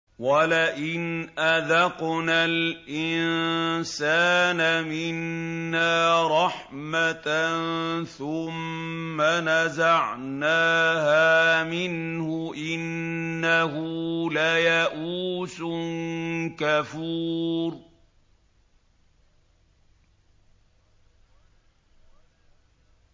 وَلَئِنْ أَذَقْنَا الْإِنسَانَ مِنَّا رَحْمَةً ثُمَّ نَزَعْنَاهَا مِنْهُ إِنَّهُ لَيَئُوسٌ كَفُورٌ